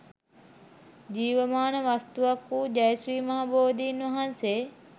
ජීවමාන වස්තුවක් වූ ජය ශ්‍රී මහා බෝධීන් වහන්සේ